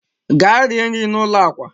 gaa rie nri n'ụlọ akwa